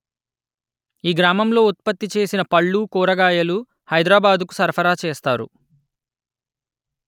ఈ గ్రామంలో ఉత్పత్తి చేసిన పళ్ళు కూరగాయలు హైదరాబాదుకు సరఫరా చేస్తారు